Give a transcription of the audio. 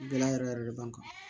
Gɛlɛya yɛrɛ yɛrɛ de b'an kan